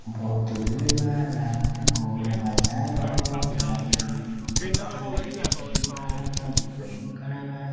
बहुत भीड़ बा लागता कोनो बाजार ह गाड़ी कइगो लउकता चरपहीयो खड़ा बा दुपहइयो खड़ा बा।